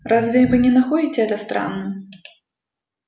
разве вы не находите это странным